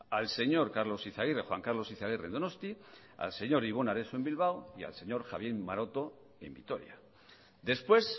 al señor carlos izaguirre juan carlos izaguirre en donostia al señor ibon areso en bilbao y al señor javier maroto en vitoria después